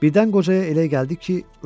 Birdən qocaya elə gəldi ki, ölüb.